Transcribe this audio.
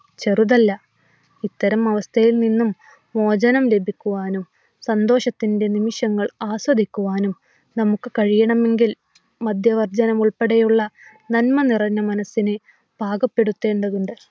ചെറുതല്ല. ഇത്തരം അവസ്ഥയിൽ നിന്നും മോചനം ലഭിക്കുവാനും സന്തോഷത്തിന്റെ നിമിഷങ്ങൾ ആസ്വദിക്കുവാനും നമുക്ക് കഴിയണമെങ്കിൽ മദ്യവർജനം ഉൾപ്പെടെയുള്ള നന്മനിറഞ്ഞ മനസ്സിനെ പാകപ്പെടുത്തേണ്ടതുണ്ട്.